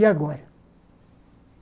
E agora?